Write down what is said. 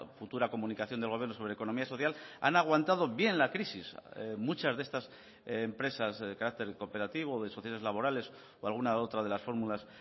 futura comunicación del gobierno sobre economía social han aguantado bien la crisis muchas de estas empresas de carácter cooperativo o de sociedades laborales o alguna otra de las fórmulas